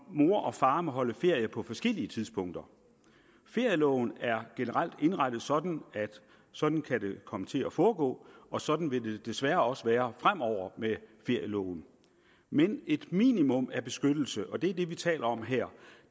mor og far må holde ferie på forskellige tidspunkter ferieloven er generelt indrettet sådan at sådan kan det komme til at foregå og sådan vil det desværre også være fremover med ferieloven men et minimum af beskyttelse og det er det vi taler om her